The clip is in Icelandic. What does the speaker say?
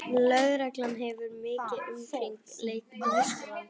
Lögreglan hefur umkringt leikskólann